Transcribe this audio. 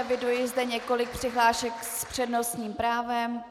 Eviduji zde několik přihlášek s přednostním právem.